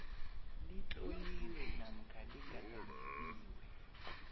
litloliwe namkha ligadangisiwe